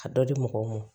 A dɔ di mɔgɔw ma